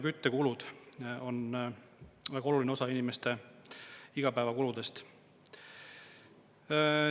Küttekulud on väga oluline osa inimeste igapäevakuludest.